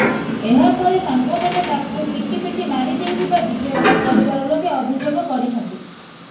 ଏହା ପରେ ସାଙ୍ଗମାନେ ତାକୁ ପିଟି ପିଟି ମାରି ଦେଇଥିବା ବିଜୟଙ୍କ ପରିବାର ଲୋକେ ଅଭିଯୋଗ କରିଛନ୍ତି